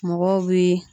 Mɔgɔw bɛ